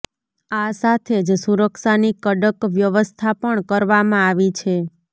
આ સાથે જ સુરક્ષાની કડક વ્યવસ્થા પણ કરવામાં આવી છે